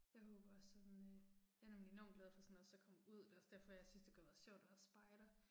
Jeg håber også sådan øh. Jeg er nemlig enormt glad for sådan også at komme ud, det er også derfor jeg synes det kunne have været sjovt at være spejder